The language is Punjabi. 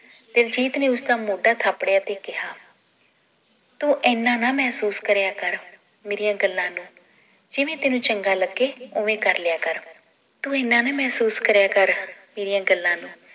ਦਿਲਜੀਤ ਨੇ ਉਸਦਾ ਮੋਢਾ ਥਾਪੜਿਆ ਤੇ ਕਿਹਾ ਤੂੰ ਇਹਨਾਂ ਨਾ ਮਹਿਸੂਰ ਕਰਿਆ ਕਰ ਮੇਰੀਆਂ ਗੱਲਾਂ ਨੂੰ ਜਿਵੇਂ ਤੈਨੂੰ ਚੰਗਾ ਲੱਗੇ ਓਵੇਂ ਕਰ ਲਿਆ ਕਰ ਤੂੰ ਇਹਨਾਂ ਨਾ ਮਹਿਸੂਰ ਕਰਿਆ ਕਰ ਮੇਰੀਆਂ ਗੱਲਾਂ ਨੂੰ